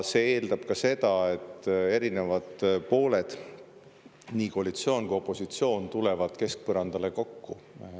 See eeldab ka seda, et erinevad pooled, koalitsioon ja opositsioon, tulevad keskpõrandale kokku.